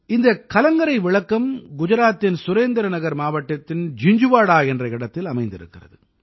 இந்தக் கலங்கரை விளக்கம் குஜராத்தின் சுரேந்திர நகர் மாவட்டத்தின் ஜிஞ்ஜுவாடா என்ற இடத்தில் அமைந்திருக்கிறது